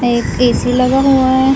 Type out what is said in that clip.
एक A C लगा हुआ है।